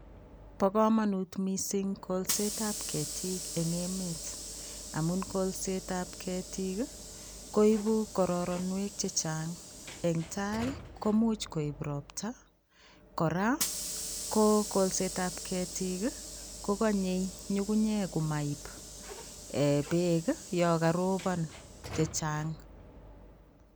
Bokomonut mising kolsetab ketik eng' emet amun kolsetab ketik koibu kororonwek chechang eng' taai koimuch koib robta kora ko kolsetab ketik kokonye ng'ung'unyek komoib eeh beek yoon korobon chechang.